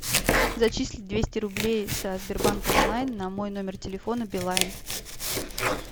зачислить двести рублей со сбербанк онлайн на мой номер телефона билайн